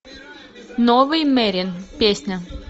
новый мерин песня